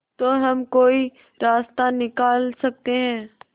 तो हम कोई रास्ता निकाल सकते है